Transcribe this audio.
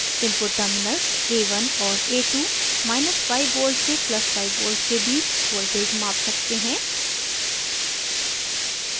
input terminals a1 और a25v से + 5v के बीच voltage माप सकते हैं